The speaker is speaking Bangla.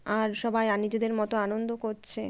আর সবাই আর নিজেদের মতো আনন্দ করছে।